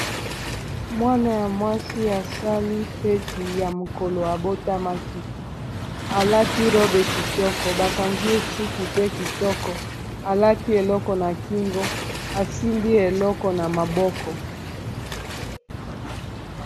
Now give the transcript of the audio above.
mwana ya mwasi asali feti ya mokolo abotamaki alati robe kitoko bakangi esuki pe kitoko alati eloko na kingo asimbi eloko na maboko